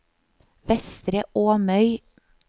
Vestre Åmøy